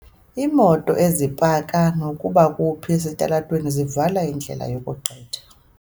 Iimoto ezipaka nokuba kuphi esitalatweni zivala indlela yokugqitha.